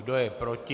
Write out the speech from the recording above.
Kdo je proti?